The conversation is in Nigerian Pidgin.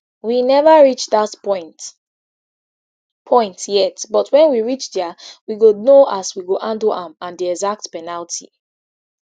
we neva reach dat point point yet but wen we reach dia we go know as we go handle am and di exact penalty